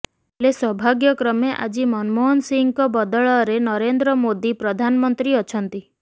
ହେଲେ ସୌଭାଗ୍ୟକ୍ରମେ ଆଜି ମନମୋହନ ସିଂଙ୍କ ବଦଳରେ ନରେନ୍ଦ୍ର ମୋଦୀ ପ୍ରଧାନମନ୍ତ୍ରୀ ଅଛନ୍ତି